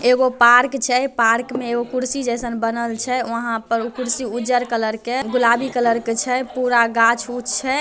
एगो पार्क छै पार्क में एगो कुर्सी जइसन बनल छै वहाँ पर कुर्सी उज्जर कलर के गुलाबी कलर के छै पूरा गाछ-उछ छै।